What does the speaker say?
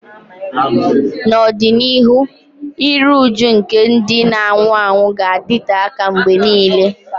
N'ọdịnihu, iru újú nke ndị na-anwụ anwụ ga-adịte aka mgbe nile.